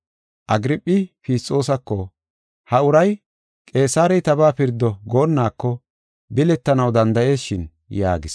Agirphi Fisxoosako, “Ha uray ‘Qeesarey tabaa pirdo’ goonnako biletanaw danda7ees shin” yaagis.